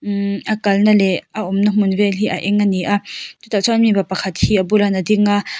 a kalna leh a awmna hmun vel hi a eng ani a chutah chuan mi pa pakhat hi a bulah hian a ding a.